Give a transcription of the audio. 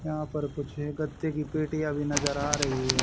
यहां पर कुछ है गत्ते की पेटियां भी नजर आ रही है।